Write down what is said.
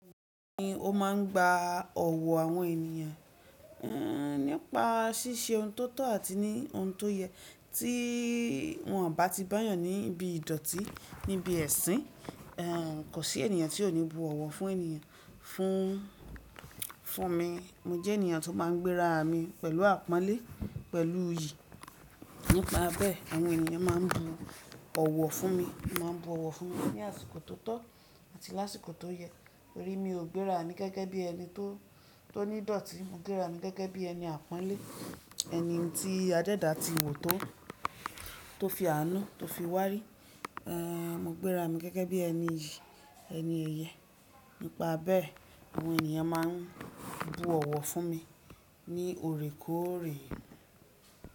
Bẹ́ẹ̀ni o máa ń gba ọ̀wọ̀ àwọn ènìyàn, ehn, nípa ṣíṣe ohun tó tọ́ àti ní ohun tó yẹ tí wọ́n on bá ti bá yàn níbi ìdọ̀tí, níbi ẹ̀sín. Kò sí ènìyàn tí ò ní bu ọ̀wọ̀ fún ènìyàn. Fún, fún mi, mo jẹ́ ènìyàn tó máa ń gbéra mi pẹ̀lú àpọ́nlé pẹ̀lú iyì. Nípa bẹ́ẹ̀ àwọn ènìyàn máa ń bu ọ̀wọ̀ fún mi. Ma n bu ọ̀wọ̀ fún mi ní àsìkò tó tọ́ àti lásìkò tó yẹ. Torí mi ò gbéra mi gẹ́gẹ́ bí ẹni tó, tó ní ìdọ̀tí. Mo gbéra mi gẹ́gẹ́ bí ẹni àpọ́nlé, ẹni tí adẹ́dá ti wò tó, tó fi àánú tó fi wárí. Ehn, mo gbéra mi gẹ́gẹ́ bí ẹni iyì, ẹni eyẹ́. Nípa bẹ́ẹ̀ àwọn ènìyàn máa ń bu ọ̀wọ̀ fún mi ní òrè kó o re.